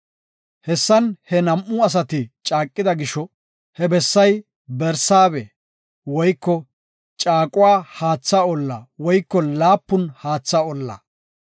Hessan he nam7u asati caaqida gisho, he bessay Barsaabe (Caaqo Haatha Olla woyko Laapun Haatha Olla).